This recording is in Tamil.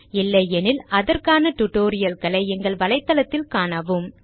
இல்லையெனில் அதற்கான tutorial களை எங்கள் வலைதளத்தில் காணவும்